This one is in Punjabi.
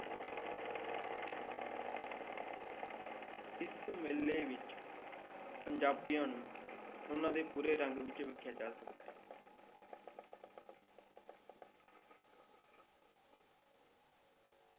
ਇਸ ਮੇਲੇ ਵਿੱਚ ਪੰਜਾਬੀਆਂ ਨੂੰ ਉਹਨਾਂ ਦੇ ਪੂਰੇ ਰੰਗ ਵਿੱਚ ਵੇਖਿਆ ਜਾ ਸਕਦਾ ਹੈ।